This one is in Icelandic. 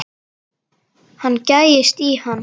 Hann gægist í hann.